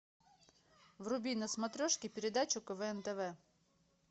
вруби на смотрешке передачу квн тв